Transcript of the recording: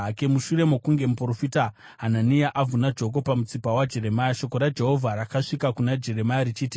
Mushure mokunge muprofita Hanania avhuna joko pamutsipa waJeremia, shoko raJehovha rakasvika kuna Jeremia richiti,